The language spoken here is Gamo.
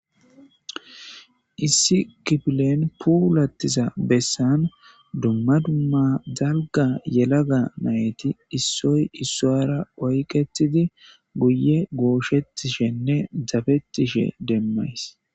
Issi kifflen pullathizza bessan dumma dumma dalgga yelagga naytti issoyi issawara oyqettidi guyye goshetishene daffetishe demayss.